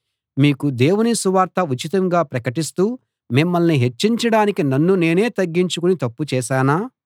మీకు దేవుని సువార్త ఉచితంగా ప్రకటిస్తూ మిమ్మల్ని హెచ్చించడానికి నన్ను నేనే తగ్గించుకుని తప్పు చేశానా